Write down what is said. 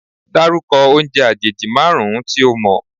Dárúkọ oúnjẹ àjèjì márùn-ún tí o mọ̀?